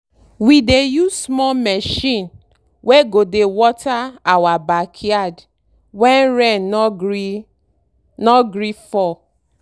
we dey use small machine wey go dey water our backyard when rain no gree no gree fall.